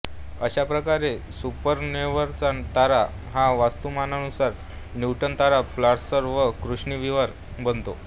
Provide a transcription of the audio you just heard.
अशा प्रकारे सुपरनोव्हानंतर तारा हा वस्तुमानानुसार न्यूट्रॉन तारा पल्सार वा कृष्णविवर बनतो